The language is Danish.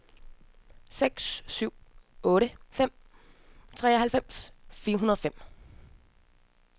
seks syv otte fem treoghalvfems fire hundrede og fem